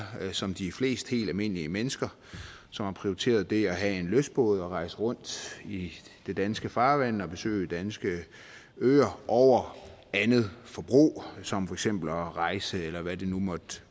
som de er flest helt almindelige mennesker som har prioriteret det at have en lystbåd og rejse rundt i det danske farvand og besøge danske øer over andet forbrug som for eksempel at rejse måder eller hvad det nu måtte